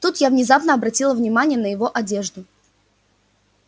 тут я внезапно обратила внимание на его одежду